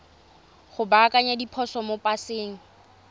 go baakanya diphoso mo paseng